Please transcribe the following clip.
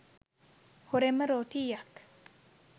හොරෙන්ම රෝටීයක්